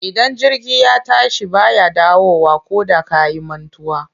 Idan jirgi ya tashi ba ya dawowa koda ka yi mantuwa.